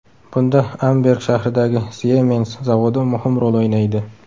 Bunda Amberg shahridagi Siemens zavodi muhim rol o‘ynaydi.